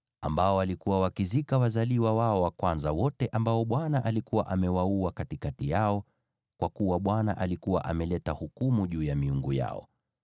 waliokuwa wakizika wazaliwa wao wa kwanza wote, ambao Bwana alikuwa amewaua katikati yao, kwa kuwa Bwana alikuwa ameleta hukumu juu ya miungu yao.